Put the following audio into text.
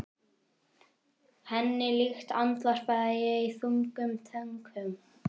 Henni líkt, andvarpa ég í þungum þönkum.